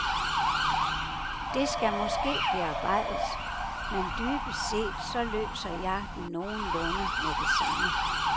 Det skal måske bearbejdes, men dybest set så løser jeg den nogenlunde med det samme.